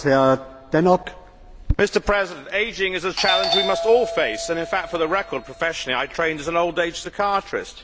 Mr President, ageing is a challenge we must all face and in fact, for the record, professionally I trained as an old age psychiatrist.